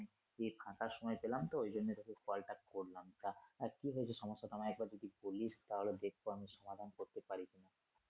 যে ফাঁকা সময় পেলাম তো ওই জন্য তোকে call টা করলাম তা আহ কি হয়েছে সমস্যা টা আমায় একবার যদি বলিস তাহলে দেখবো আমি সমাধান করতে পারি কিনা?